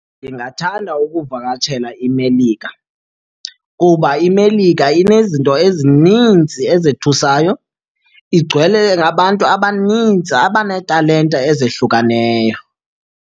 Ndingathanda ukuvakatshela iMelika kuba iMelika inezinto ezininzi ezethusayo, igcwele nabantu abaninzi abaneetalente ezahlukeneyo.